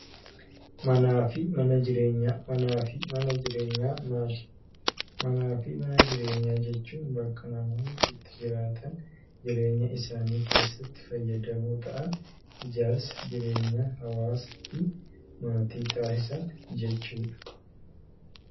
Manaa fi mana jireenyaa. Manaa fi mana jireenyaa maali? Manaa fi mana jireenyaa jechuun bakka namoonni itti jiraatan, jireenya isaanii keessatti fayyadamoo ta'an, ijaarsa, jireenya, hawaasaa fi maatii taasisan jechuudha.